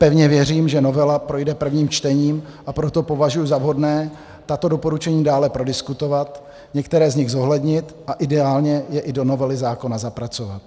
Pevně věřím, že novela projde prvním čtením, a proto považuji za vhodné tato doporučení dále prodiskutovat, některá z nich zohlednit a ideálně je i do novely zákona zapracovat.